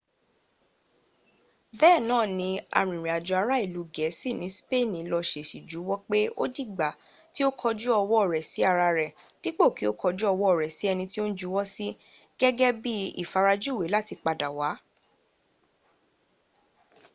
bee naa ni arinrin ajo ara ilu geesi ni speeni la sesi juwo pe odigba ki o koju owo re si ara re dipo ki o koju owo re si eni ti o n juwo si gege bi ifarajuwe lati pada wa